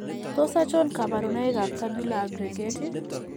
Tos achon kabarunaik ab Tubular aggregate ?